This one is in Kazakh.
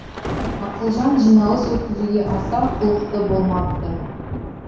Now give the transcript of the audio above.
ақылжан жиналыс өткізуге аса құлықты болмапты